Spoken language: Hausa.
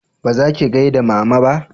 ba zaki gaida mama ba